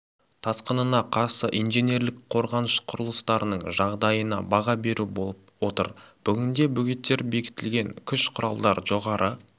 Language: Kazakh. тасқынына қарсы инженерлік қорғаныш құрылыстарының жағдайына баға беру болып отыр бүгінде бөгеттер бекітілген күш-құралдар жоғары